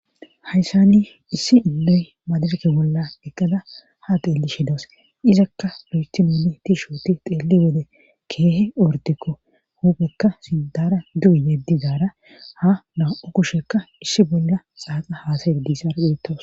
hayssani issi illoy maadarke bolla eqqada ha teelli shidos izakka lo7estinoni tiishoti xeelli wede keehe ortikko huphekka sintara du7u yeddizaara ha na7u kushekka issi bolla xaaqa haasaye diissar dheettoos